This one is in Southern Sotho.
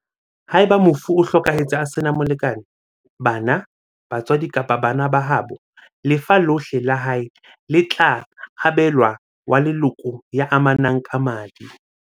Haeba mofu o hlokahetse a sena molekane, bana, ba tswadi kapa bana ba haabo, lefa lohle la hae le tla abe lwa wa leloko ya amanang ka madi.